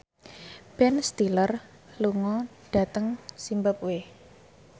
Ben Stiller lunga dhateng zimbabwe